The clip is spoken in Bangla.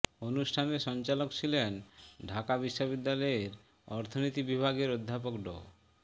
অনুষ্ঠানের সঞ্চালক ছিলেন ঢাকা বিশ্ববিদ্যালয় অর্থনীতি বিভাগের অধ্যাপক ড